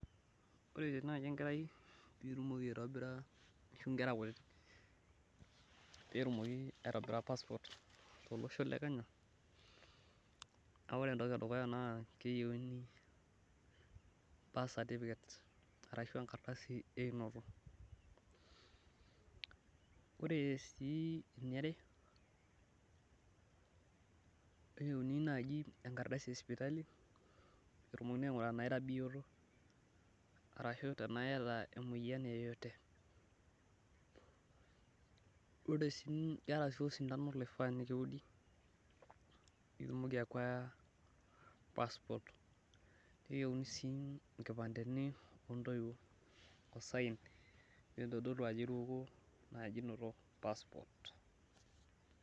Ore tenaaji enkerai pee itumoki aitobira ashu nekra kutitik, peetumoki aitobira passport tolosho le Kenya, naa ore entoki edukuya naa keyieuni, birth certificate ashu enkardasi eunoto koree sii eniare, neiyeuni naaji enkardasi esipali, peetumokini aingura tenaa iara bioto, arashu ena iyata emoyian yeyote keeta sii osintano loifaa nikiudi, peetumoki acquire passport neyieruni sii nkipandeni oontoiwuo o sign naitodolu ajo iruko naaji inoto passport.